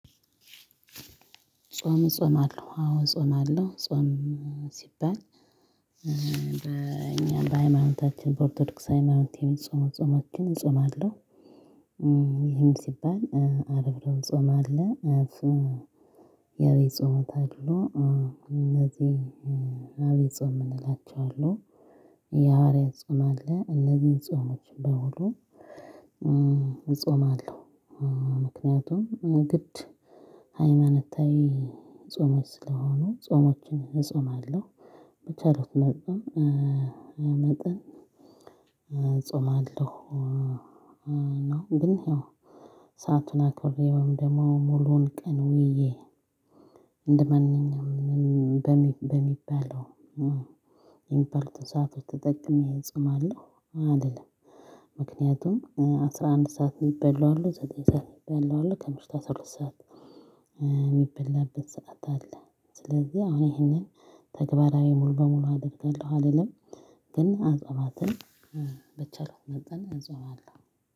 ጾም እጾማለሁ አወ እጾማለሁ ጾም ሲባል በእኛ በሃይማኖታችን በኦርቶዶክስ ሃይማኖት የሚፆሙ ጾሞችን እጾማለሁ ይሄም ሲባል አርብ እሮብ ጾም አለ። ያው የጾሙት አድሮ እነዚህ አብይ ጾም እንላቸዋለን። የሐዋርያት ጾም አለ እነዚህን ጾሞች በሙሉ እጾማለሁ። ምክንያቱም ግድ ሃይማኖታዊ ጾሞች ስለሆኑ ጾሞችን እጾማለሁ በቻልኩት መጠን እጾማለሁ። ነው ግን ያው ሰአቱን አክብሬ ወይም ደግሞ ሙሉ ቀን ዉየ እንደማንኛውም በሚባለው ኢምፐልት ሰዓት ተጠቅሜ እጾማለሁ አልልም። ምክንያቱም አስራ አንድ ሰዓት የሚበላው አለ ዘጠኝ ሰዓት የሚበላው አለ ከምሽቱ አስራ ሁለት ሰዓት የሚበላበት ሰዓት አለ። ስለዚህ አሁን ይሄንን ተግባራዊ ሙሉ በሙሉ አደርጋለሁ አልልም ግን አጽዋማትን በቻልኩት መጠን እጾማለሁ።